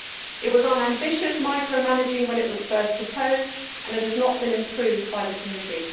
It was unambitious micro managing when it was first proposed and it has not been improved by the committee.